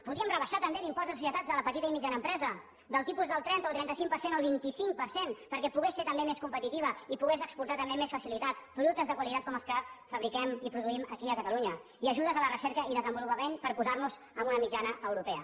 podríem rebaixar també l’impost de societats a la petita i mitjana empresa del tipus del trenta o trenta cinc per cent al vint cinc per cent perquè pogués ser també més competitiva i pogués exportar també amb més facilitat productes de qualitat com els que fabriquem i produïm aquí a catalunya i ajudes a la recerca i desenvolupament per posar nos en una mitjana europea